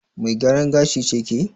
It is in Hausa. Mai gyaran gashi ce ke?